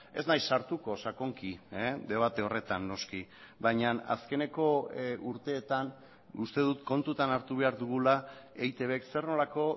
ez naiz sartuko sakonki debate horretan noski baina azkeneko urteetan uste dut kontutan hartu behar dugula eitbk zer nolako